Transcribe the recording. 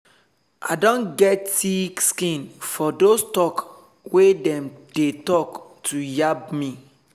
i don get thick skin for dos talk wey dem dey talk to yaba me